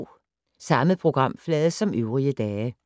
Samme programflade som øvrige dage